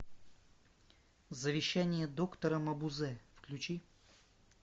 завещание доктора мабузе включи